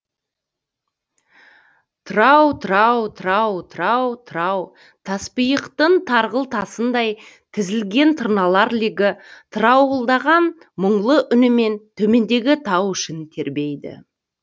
трау трау трау трау трау таспиықтың тарғыл тасындай тізілген тырналар легі тыраулаған мұңлы үнімен төмендегі тау ішін тербейді